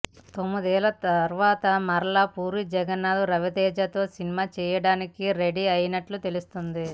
తొమ్మిదేళ్ల తర్వాత మరల పూరి జగన్నాథ్ రవితేజతో సినిమా చేయడానికి రెడీ అయినట్లు తెలుస్తుంది